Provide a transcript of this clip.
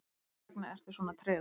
hversvegna ertu svona tregur